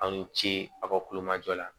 Aw ni ce aw ka kulomajɔ la